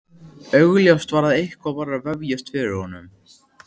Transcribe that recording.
Augljóst var að eitthvað var að vefjast fyrir honum.